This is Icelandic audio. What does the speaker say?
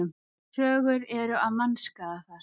Sögur eru af mannskaða þar.